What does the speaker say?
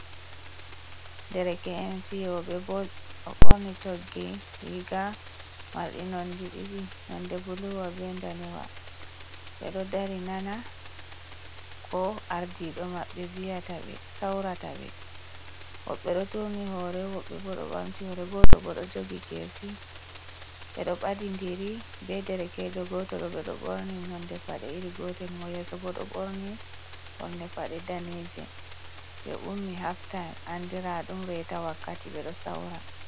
Dereke’en fiyooɓe bol, ɓe ɗo borni toggi riiga marɗi nonnde ɗiɗi, nonnde buluuwa bee ndanewa, ɓe ɗo dari nana ko aardiiɗo maɓɓe viyata, sawrata ɓe, woɓɓe ɗo turni hoore, woɓɓe bo ɗo ɓamti hoore, gooto boo ɗo jogi keesi ɓe ɗo ɓadindiri bee derekeejo gooto ɗo, ɓe ɗo ɓorni nonnde Paɗe iri gootel, mo yeeso boo ɗo ɓorni ɓorne Paɗe daneeje, ɓe ummi haf taaym anndiraaɗum reeta wakkati ɓe ɗo sawra.